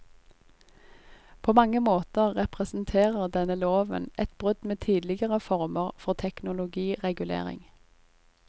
På mange måter representerer denne loven et brudd med tidligere former for teknologiregulering.